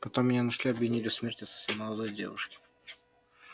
потом меня нашли и обвинили в смерти совсем молодой девушки